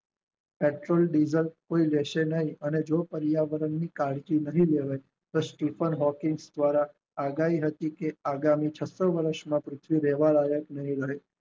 petrol diesel કોઈ લેશે નય અને જો પર્યાવરણ ની કાળજી નહિ લેવાય સ્ટીફન હોકી દ્વારા આગાહી રચી છે તે છપ્પન વર્ષ માં પૃથ્વી રહેવા લાયક નહિ રહે